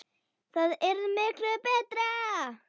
Það yrði miklu BETRA!